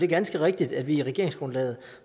ganske rigtigt at vi i regeringsgrundlaget